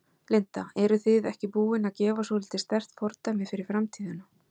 Linda: Eruð þið ekki búin að gefa svolítið sterkt fordæmi fyrir framtíðina?